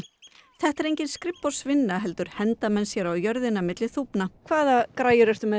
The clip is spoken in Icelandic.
þetta er engin skrifborðsvinna heldur henda menn sér á jörðinna milli þúfna hvaða græjum ertu með